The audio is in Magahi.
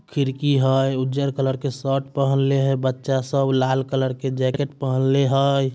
खिड़की हय उज्जर कलर के शर्ट पहनले हय। बच्चा सब लाल कलर के जेकेट पहनले हय।